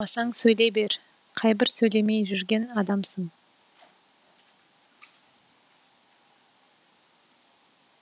қоймасаң сөйлей бер қайбір сөйлемей жүрген адамсың